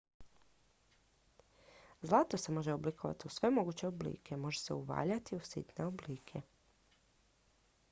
zlato se može oblikovati u sve moguće oblike može se uvaljati u sitne oblike